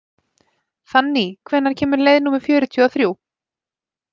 Fanný, hvenær kemur leið númer fjörutíu og þrjú?